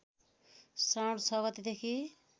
श्रावण ६ गतेदेखि